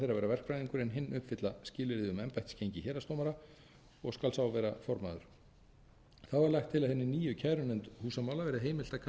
verkfræðingur en hinn uppfylla skilyrði um embættisgengi héraðsdómara og skal sá vera formaður þá er lagt til að hinni nýju kærunefnd húsamála verði heimilt